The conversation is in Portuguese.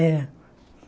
É